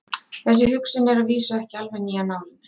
Þessi hugsun er að vísu ekki alveg ný af nálinni.